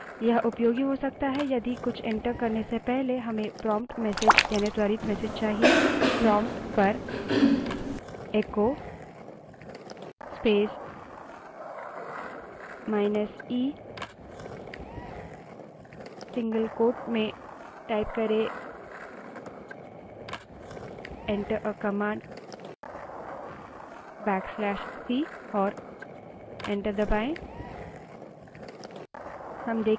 यह उपयोगी हो सकता है यदि कुछ एंटर करने से पहले हमें prompt message यानि त्वरित message चाहिए prompt पर echo space minus e single quote में type करें back slash c command enter करें और एंटर दबायें